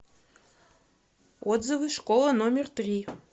отзывы школа номер три